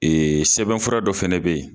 sɛbɛn fura dɔ fɛnɛ be yen